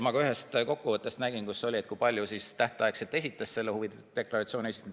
Ma ühest kokkuvõttest nägin, kui paljud olid tähtaegselt huvide deklaratsiooni esitanud.